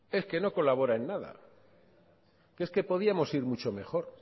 es que no colabora en nada es que podíamos ir mucho mejor